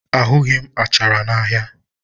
Ahụghị m achara n'ahịa